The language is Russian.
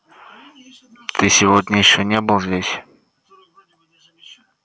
ты сегодня ещё не был здесь